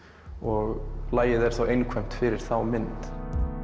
og lagið er þá einkvæmt fyrir þá mynd